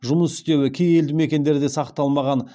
жұмыс істеуі кей елдімекендерде сақталмаған